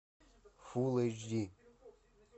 фулл эйч ди